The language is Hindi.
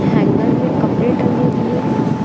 हैंगर में कपड़े टंगे हुए हैं।